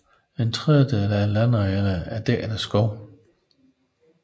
En tredjedel af landarealet er dækket af skov